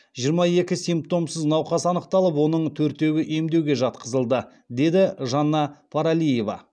жиырма екі симптомсыз науқас анықталып оның төртеуі емдеуге жатқызылды деді жанна паралиева